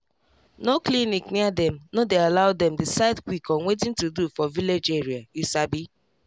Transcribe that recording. no clinic near dem no dey allow them decide quick on watin to do for village area you sabi